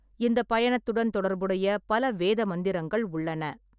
இந்த பயணத்துடன் தொடர்புடைய பல வேத மந்திரங்கள் உள்ளன.